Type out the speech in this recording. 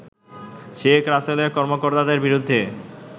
শেখ রাসেলের কর্মকর্তাদের বিরুদ্ধে